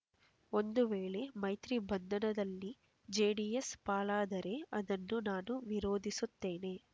ಒಂದು ವೇಳೆ ಮೈತ್ರಿ ಬಂಧನದಲ್ಲಿ ಜೆಡಿಎಸ್ ಪಾಲಾದರೆ ಅದನ್ನು ನಾನು ವಿರೋಧಿಸುತ್ತೇನೆ